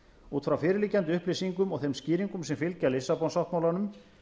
út frá fyrirliggjandi upplýsingum og þeim skýringum sem fylgja lissabon sáttmálanum